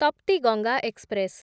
Tapti Ganga express